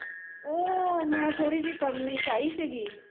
ਉਹ ਮੈ ਥੋੜੀ ਜਿਹੀ ਕਰਨੀ ਚਾਹੀ ਸੀਗੀ